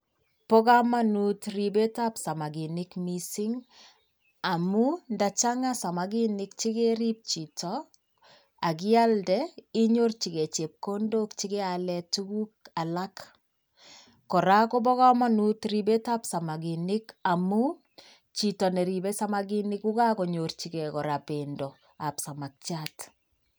Bo kamanut ribetab samaginik mising amun ndachanga samagik chegerip chito ak ialde, inyirchigei chepkondok che keale tuguk alak. Kora kobo kamanut ribetab samaginik amu, chito neribe samaginik kogagonyorchigei kora bendoab samakiat.